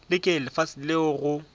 le ke lefase leo go